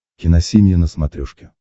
киносемья на смотрешке